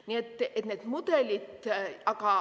Nii et need mudelid ...